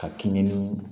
Ka kɛɲɛ ni